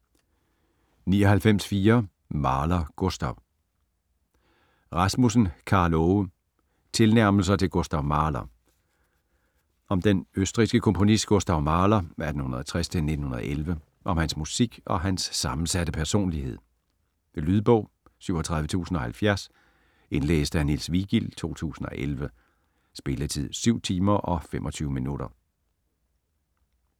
99.4 Mahler, Gustav Rasmussen, Karl Aage: Tilnærmelser til Gustav Mahler Om den østrigske komponist Gustav Mahler (1860-1911), om hans musik og hans sammensatte personlighed. Lydbog 37070 Indlæst af Niels Vigild, 2011. Spilletid: 7 timer, 25 minutter.